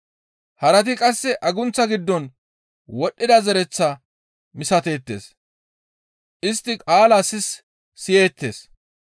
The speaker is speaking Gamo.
Harati qasse agunththa giddon wodhdhida zereththaa misateettes; istti qaalaa sis siyeettes.